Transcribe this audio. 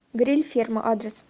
гриль ферма адрес